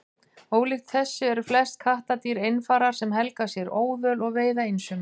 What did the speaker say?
Ólíkt þessu eru flest kattardýr einfarar sem helga sér óðöl og veiða einsömul.